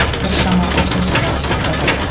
біршама ұсыныс та түсіп жатыр